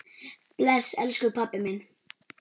Bless, elsku pabbi minn.